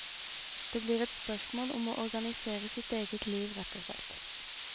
Det blir et spørsmål om å organisere sitt eget liv rett og slett.